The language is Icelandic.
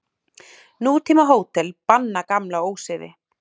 Nútímahótel banna gamla ósiði.